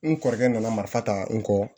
N kɔrɔkɛ nana marifa ta n kɔ